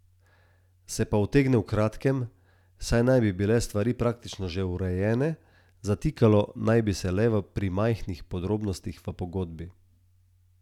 In to presenetljivo, če že ne senzacionalno.